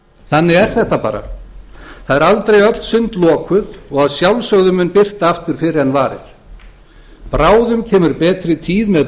þannig er þetta bara það eru aldrei öll sund lokuð og að sjálfsögðu mun birta aftur fyrr en varir bráðum kemur betri tíð með